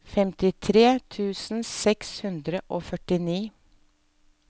femtitre tusen seks hundre og førtini